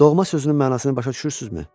Doğma sözünün mənasını başa düşürsünüzmü?